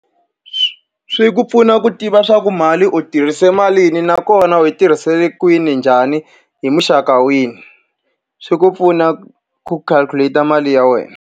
swi ku pfuna ku tiva leswaku mali u tirhise malini nakona u yi tirhise kwini, njhani, hi muxaka wihi. Swi ku pfuna ku calculate-a mali ya wena.